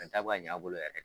ta bɛ ka ɲɛ a bolo yɛrɛ